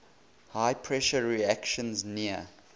high pressure reactions near